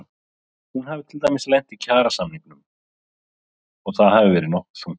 Hún hafi til dæmis lent í kjarasamningum og það hafi verið nokkuð þungt.